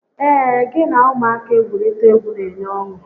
Ee, gị na ụmụaka igwurita egwu n'enye ọṅụ